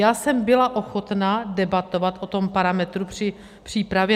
Já jsem byla ochotna debatovat o tom parametru při přípravě.